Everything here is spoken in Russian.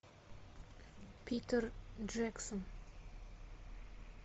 питер джексон